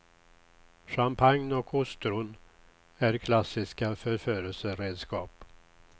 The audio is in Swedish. Champagne och ostron är klassiska förförelseredskap.